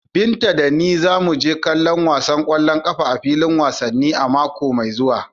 Binta da ni za mu je kallon wasan kwallon kafa a filin wasanni a mako mai zuwa.